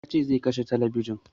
Ya ce zai kashe talabijin